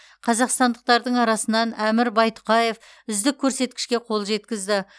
қазақстандықтардың арасынан әмір байтұқаев үздік көрсеткішке қол жеткізді